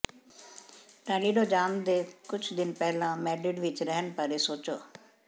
Toledo ਜਾਣ ਤੋਂ ਕੁਝ ਦਿਨ ਪਹਿਲਾਂ ਮੈਡ੍ਰਿਡ ਵਿਚ ਰਹਿਣ ਬਾਰੇ ਸੋਚੋ